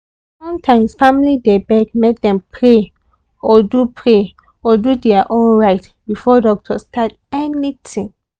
sometimes family dey beg make dem pray or do pray or do their own rite before doctor start anything.